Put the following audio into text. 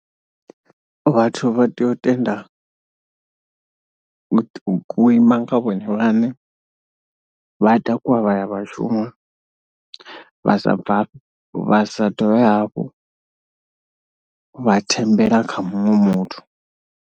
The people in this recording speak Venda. Vhathu vha tea u tenda u ima nga vhone vhaṋe, vha takuwa vha ya vha shuma, vha sa bvafhe, vha sa ḓo hafho, vha thembela kha muṅwe muthu.